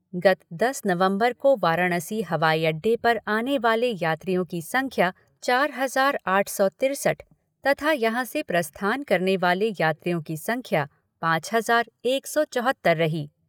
गत दस नवम्बर को वाराणसी हवाई अड्डे पर आने वाले यात्रियों की संख्या चार हज़ार आठ सौ तिरसठ तथा यहाँ से प्रस्थान करने वाले यात्रियों की संख्या पाँच हज़ार एक सौ चौहत्तर रही।